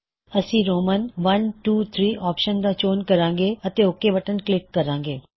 ਅਸੀ Roman I I I I I I option ਦਾ ਚੋਣ ਕਰਾਂਗੇ ਅਤੇ ਓਕ ਬਟਨ ਕਲਿੱਕ ਕਰਾਂਗੇ